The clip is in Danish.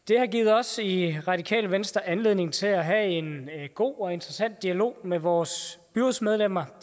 det har givet os i radikale venstre anledning til at have en god og interessant dialog med vores byrådsmedlemmer og